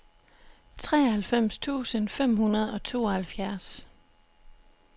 treoghalvfems tusind fem hundrede og tooghalvfjerds